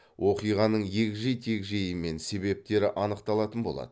оқиғаның егжей тегжейі мен себептері анықталатын болады